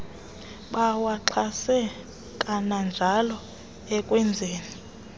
bawaxhase kananjalo ekwenzeni